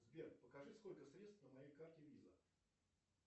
сбер покажи сколько средств на моей карте виза